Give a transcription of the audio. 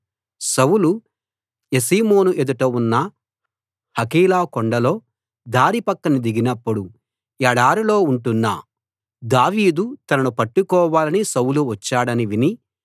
సౌలు Jeshimon ఎదుట ఉన్న Hachilah కొండలో దారి పక్కన దిగినప్పుడు ఎడారిలో ఉంటున్న దావీదు తనను పట్టుకోవాలని సౌలు వచ్చాడని విని